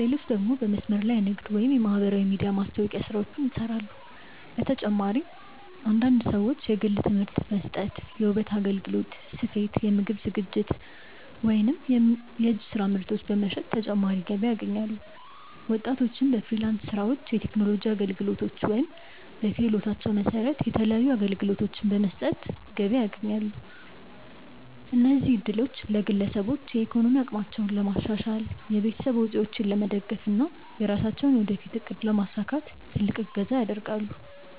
ሌሎች ደግሞ በመስመር ላይ ንግድ ወይም የማህበራዊ ሚዲያ ማስታወቂያ ስራዎችን ይሰራሉ። በተጨማሪም አንዳንድ ሰዎች የግል ትምህርት መስጠት፣ የውበት አገልግሎት፣ ስፌት፣ የምግብ ዝግጅት ወይም የእጅ ስራ ምርቶች በመሸጥ ተጨማሪ ገቢ ያገኛሉ። ወጣቶችም በፍሪላንስ ስራዎች፣ የቴክኖሎጂ አገልግሎቶች ወይም በክህሎታቸው መሰረት የተለያዩ አገልግሎቶችን በመስጠት ገቢ ያስገኛሉ። እነዚህ እድሎች ለግለሰቦች የኢኮኖሚ አቅማቸውን ለማሻሻል፣ የቤተሰብ ወጪዎችን ለመደገፍ እና የራሳቸውን የወደፊት እቅድ ለማሳካት ትልቅ እገዛ ያደርጋል።